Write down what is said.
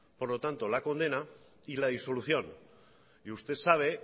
por lo tanto la condena y la disolución y usted sabe